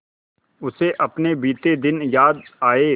उसे अपने बीते दिन याद आए